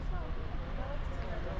Yaxşıdır, sağ ol.